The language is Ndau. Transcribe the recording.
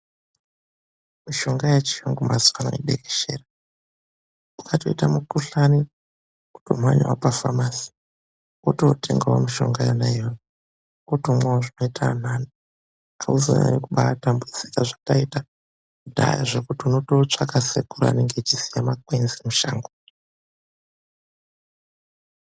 Mishonga yechirungu maziva ano yadekeshera andu mazuva ano ukatoita mukuhlani womhanya pachitoro chinotengeswa mitombo wototenga mitombo iyoyo wotomwawo zvinoita kuti usanyanya kutambudzika zvataita kudhaya zvekuti anotsvaka Sekuru vanenge veyiziya makwenzi musango.